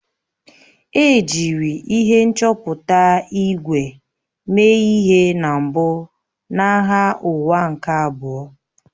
E jiri ihe nchọpụta ígwè mee ihe na mbụ na Agha Ụwa nke Abụọ